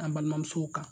An balimamusow kan